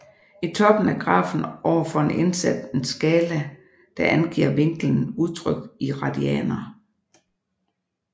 I toppen af grafen ovenfor er indsat en skala der angiver vinklen udtrykt i radianer